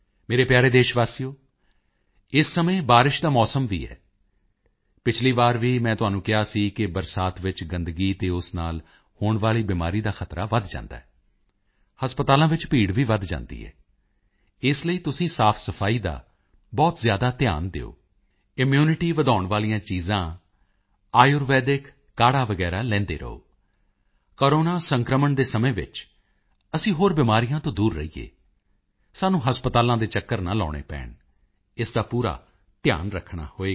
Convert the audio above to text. ਮੇਰੇ ਪਿਆਰੇ ਦੇਸ਼ਵਾਸੀਓ ਇਸ ਸਮੇਂ ਬਾਰਿਸ਼ ਦਾ ਮੌਸਮ ਵੀ ਹੈ ਪਿਛਲੀ ਵਾਰ ਵੀ ਮੈਂ ਤੁਹਾਨੂੰ ਕਿਹਾ ਸੀ ਕਿ ਬਰਸਾਤ ਵਿੱਚ ਗੰਦਗੀ ਅਤੇ ਉਸ ਨਾਲ ਹੋਣ ਵਾਲੀ ਬਿਮਾਰੀ ਦਾ ਖ਼ਤਰਾ ਵਧ ਜਾਂਦਾ ਹੈ ਹਸਪਤਾਲਾਂ ਵਿੱਚ ਭੀੜ ਵੀ ਵਧ ਜਾਂਦੀ ਹੈ ਇਸ ਲਈ ਤੁਸੀਂ ਸਾਫਸਫਾਈ ਦਾ ਬਹੁਤ ਜ਼ਿਆਦਾ ਧਿਆਨ ਦਿਓ ਇਮਿਊਨਿਟੀ ਵਧਾਉਣ ਵਾਲੀਆਂ ਚੀਜ਼ਾਂ ਆਯੁਰਵੈਦਿਕ ਕਾਹੜਾ ਵਗੈਰਾ ਲੈਂਦੇ ਰਹੋ ਕੋਰੋਨਾ ਸੰਕਰਮਣ ਦੇ ਸਮੇਂ ਵਿੱਚ ਅਸੀਂ ਹੋਰ ਬਿਮਾਰੀਆਂ ਤੋਂ ਦੂਰ ਰਹੀਏ ਸਾਨੂੰ ਹਸਪਤਾਲਾਂ ਦੇ ਚੱਕਰ ਨਾ ਲਗਾਉਣੇ ਪੈਣ ਇਸ ਦਾ ਪੂਰਾ ਧਿਆਨ ਰੱਖਣਾ ਹੋਵੇਗਾ